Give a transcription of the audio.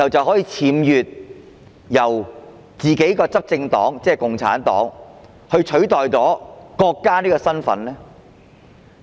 可否由自己的執政黨，即共產黨僭越取代國家的身份？